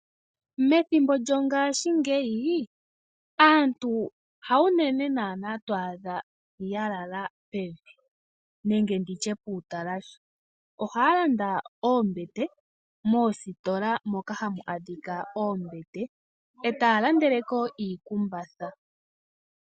Methimbo lyongashingeyi aantu hawu nene naana twaadha ya lala pevi nenge nditye puutalahe ohaa landa oombete moositola moka hamu adhika oombete eta ya landeleko iikumbatha.